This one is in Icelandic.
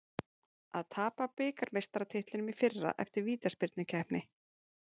Að tapa bikarmeistaratitlinum í fyrra eftir vítaspyrnukeppni